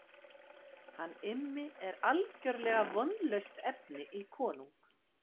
Hann Immi er algerlega vonlaust efni í konung.